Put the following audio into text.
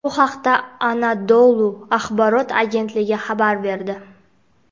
Bu haqda "Anadolu" axborot agentligi xabar berdi.